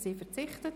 – Sie verzichtet.